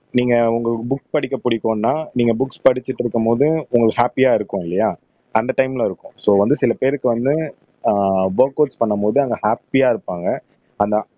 நீங்க உங்களுக்கு புக் படிக்க பிடிக்கும்ன்னா நீங்க புக் படிச்சுட்டு இருக்கும்போது உங்களுக்கு ஹாப்பியா இருக்கும் இல்லையா அந்த டைம்ல இருக்கும் சோ வந்து சில பேருக்கு வந்து ஆஹ் ஒர்கவுட்ஸ் பண்ணும் போது அங்க ஹாப்பியா இருப்பாங்க அந்த